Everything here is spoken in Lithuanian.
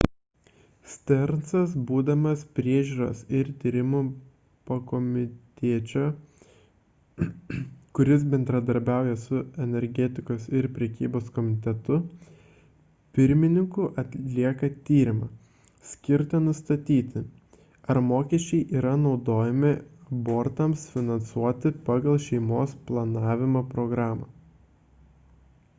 stearnsas būdamas priežiūros ir tyrimų pakomitečio kuris bendradarbiauja su energetikos ir prekybos komitetu pirmininku atlieka tyrimą skirtą nustatyti ar mokesčiai yra naudojami abortams finansuoti pagal šeimos planavimo programą